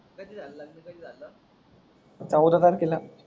अगोदरचाच केला